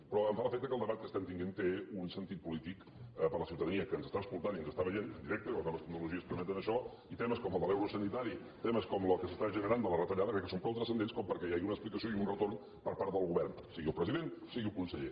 però em fa l’efecte que el debat que estem tenint té un sentit polític per a la ciutadania que ens està escoltant i ens està veient en directe que les noves tecnologies permeten això i temes com el de l’euro sanitari temes com el que s’està generant de les retallades crec que són prou transcendents perquè hi hagi una explicació i un retorn per part del govern sigui el president sigui el conseller